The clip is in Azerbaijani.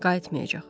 Qayıtmayacaq.